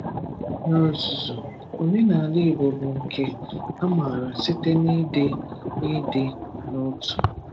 N’ozùzù, omenala Igbo bụ nke a m̀àrà site na ịdị n’ịdị n'otu.